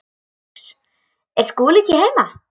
LÁRUS: Er Skúli ekki heima?